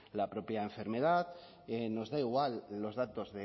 la propia enfermedad nos da igual los datos